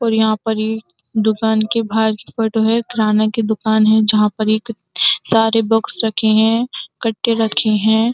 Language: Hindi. और यहाँ पर ये दुकान के बाहर फ़ोटो है। किराना की दुकान है जहाँ पर एक सारे बॉक्स रखें हैं कट्ठे रखें हैं।